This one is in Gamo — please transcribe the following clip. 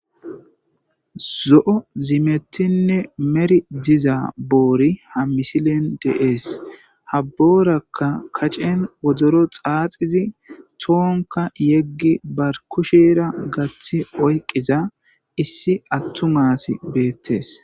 Zo'o zimetinne meri diza boori ha misilen deees habboorakka kacen wodoro xaaxizi toonka yeggi bar kushira gathi oyqiza issi attu maasi beettes